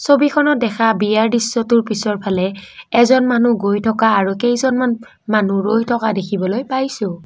ছবিখনত দেখা বিয়া দৃশ্যটোৰ পিছৰফালে এজন মানুহ গৈ থকা আৰু কেইজনমান মানুহ ৰৈ থকা দেখিবলৈ পাইছোঁ।